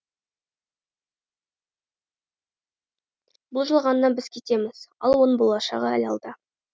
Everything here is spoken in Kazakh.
бұл жалғаннан біз кетеміз ал оның болашағы әлі алда